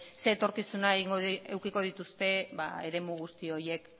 etorkizuna eduki dituzte eremu guzti horiek